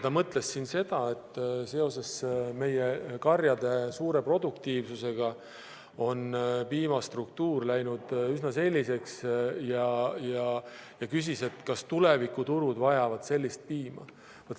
Ta mõtles seda, et seoses meie karjade suure produktiivsusega on piimastruktuur üsna selliseks läinud ja küsis, kas tulevikuturud vajavad sellist piima.